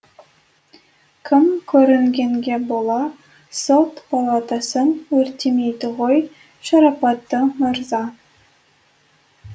кім көрінгенге бола сот палатасын өртемейді ғой шарапатты мырза